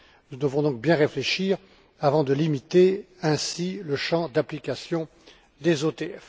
Nous devons donc bien réfléchir avant de limiter ainsi le champ d'application des OTF.